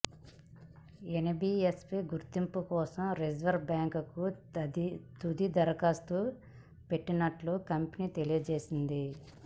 NBFC గుర్తింపు కోసం reserve బ్యాంకుకు తుది దరఖాస్తు పెట్టనున్నట్లు కంపెనీ తెలియజేసింది